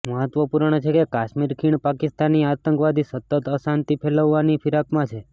મહત્વપૂર્ણ છે કે કાશ્મીર ખીણ પાકિસ્તાની આતંકવાદી સતત અશાંતિ ફેલાવવાની ફિરાકમાં છે